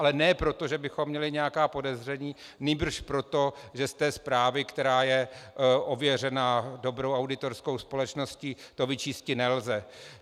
Ale ne proto, že bychom měli nějaká podezření, nýbrž proto, že z té zprávy, která je ověřena dobrou auditorskou společností, to vyčísti nelze.